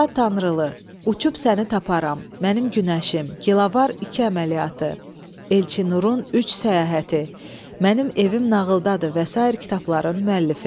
Fuad Tanrılı "Uçub səni taparam", "Mənim günəşim", "Kilavar iki əməliyyatı", "Elçinarın üç səyahəti", "Mənim evim nağıldadır" və sair kitabların müəllifidir.